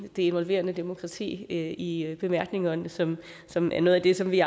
det involverende demokrati i i bemærkningerne som som er noget af det som vi